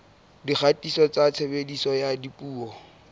dikgatiso tsa tshebediso ya dipuo